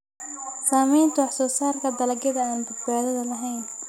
Saamaynta wax soo saarka dalagyada aan badbaadada lahayn.